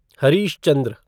Harish Chandra